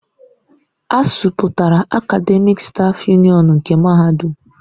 ASUU pụtara Akademịk stáf Yunịọnu nke Mahadum.